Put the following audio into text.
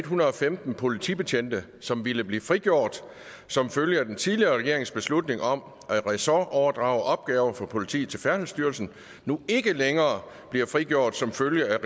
hundrede og femten politibetjente som ville blive frigjort som følge af den tidligere regerings beslutning om at ressortoverdrage opgaver fra politiet til færdselsstyrelsen nu ikke længere bliver frigjort som følge af